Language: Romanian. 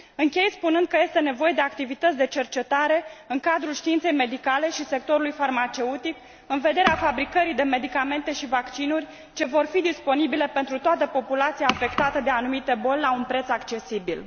Închei spunând că este nevoie de activități de cercetare în cadrul științei medicale și sectorului farmaceutic în vederea fabricării de medicamente și vaccinuri ce vor fi disponibile pentru toată populația afectată de anumite boli, la un preț accesibil.